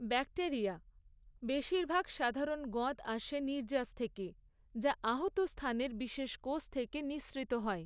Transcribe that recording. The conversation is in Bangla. ব্যাকটেরিয়া বেশিরভাগ সাধারণ গঁদ আসে নির্যাস থেকে, যা আহত স্থানের বিশেষ কোষ থেকে নিঃসৃত হয়।